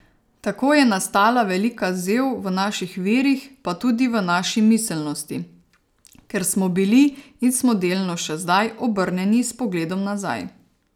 Tako je nastala velika zev v naših virih pa tudi v naši miselnosti, ker smo bili, in smo delno še zdaj, obrnjeni s pogledom nazaj.